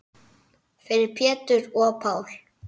Fyrir Pétur og Pál.